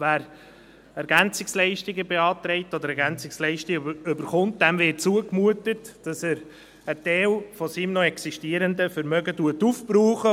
Wer Ergänzungsleistungen (EL)beantragt oder EL erhält, dem wird zugemutet, dass er einen Teil seines noch existierenden Vermögens aufbraucht.